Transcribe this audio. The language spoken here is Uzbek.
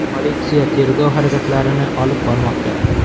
Politsiya tergov harakatlarini olib bormoqda.